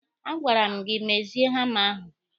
A gwara m gị mezie hama ahụ!